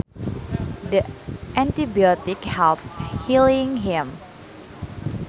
The antibiotic helped healing him